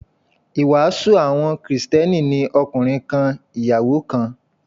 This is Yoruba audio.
Ìwàásù àwọn Kristẹni ni ọkùnrin kan, ìyàwó kan.